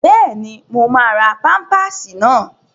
Bẹ́ẹ̀ni, mo máa ra pámpásì náà